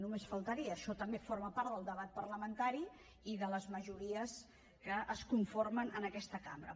només faltaria això també forma part del debat parlamentari i de les majories que es conformen en aquesta cambra